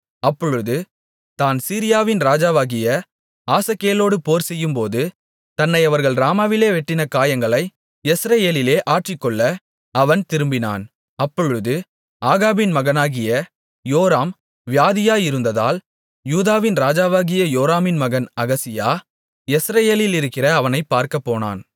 அப்பொழுது தான் சீரியாவின் ராஜாவாகிய ஆசகேலோடு போர்செய்யும்போது தன்னை அவர்கள் ராமாவிலே வெட்டின காயங்களை யெஸ்ரெயேலிலே ஆற்றிக்கொள்ள அவன் திரும்பினான் அப்பொழுது ஆகாபின் மகனாகிய யோராம் வியாதியாயிருந்ததால் யூதாவின் ராஜாவாகிய யோராமின் மகன் அகசியா யெஸ்ரெயேலிலிருக்கிற அவனைப் பார்க்கப் போனான்